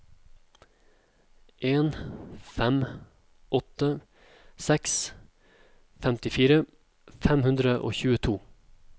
en fem åtte seks femtifire fem hundre og tjueto